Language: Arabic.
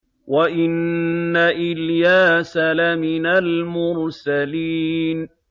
وَإِنَّ إِلْيَاسَ لَمِنَ الْمُرْسَلِينَ